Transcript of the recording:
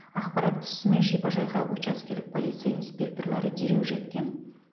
ақпарат түсісімен шипажайға учаскелік полиция инспекторлары дереу жеткен